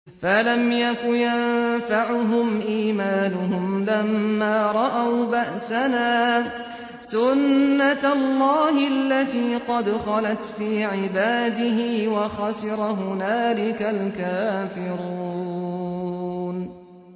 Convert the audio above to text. فَلَمْ يَكُ يَنفَعُهُمْ إِيمَانُهُمْ لَمَّا رَأَوْا بَأْسَنَا ۖ سُنَّتَ اللَّهِ الَّتِي قَدْ خَلَتْ فِي عِبَادِهِ ۖ وَخَسِرَ هُنَالِكَ الْكَافِرُونَ